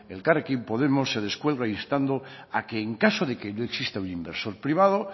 elkarrekin podemos se descuelga instando a que en caso de que no exista un inversor privado